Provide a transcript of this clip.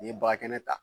N'i ye baga kɛnɛ ta